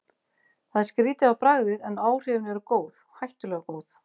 Það er skrýtið á bragðið, en áhrifin eru góð, hættulega góð.